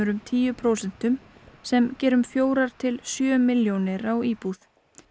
um tíu prósentum sem gera um fjórar til sjö milljónir á íbúð